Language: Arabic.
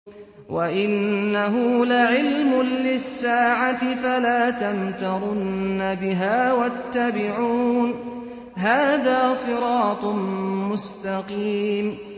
وَإِنَّهُ لَعِلْمٌ لِّلسَّاعَةِ فَلَا تَمْتَرُنَّ بِهَا وَاتَّبِعُونِ ۚ هَٰذَا صِرَاطٌ مُّسْتَقِيمٌ